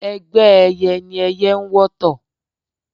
Ẹgbẹ́ ẹyẹ ni ẹyẹ n wọ́tọ̀